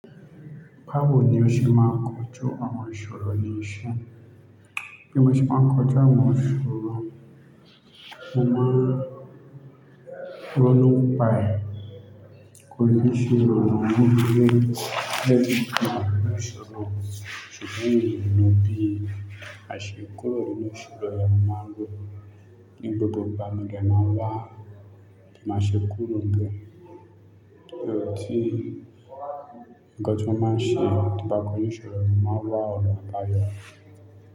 Páwùn ni o ṣe máa ń kojú àwọn ìṣòro nì ísẹ. Bí mo ṣe máa ń kojú àwọn ìṣòro, mo máa ronú páẹ́, kò ní ìṣòro, à máa dúró lẹ́bùn máa wọ ìṣòro. Ṣùgbọ́n mi mo bí, má ṣe kúró ninu ìṣòro yẹn mo máa n ro ní gbogbo ìgbà, mo dẹ máa n wá, bi n má ṣe kúró n bẹ Kí ó ti, nǹkan tí mo n máa ṣe tín ba kò ju ìṣòro, mo máa wá ọ̀nà àbayọ.